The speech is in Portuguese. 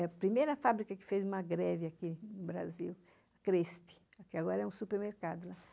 É a primeira fábrica que fez uma greve aqui no Brasil, a Cresp, que agora é um supermercado lá.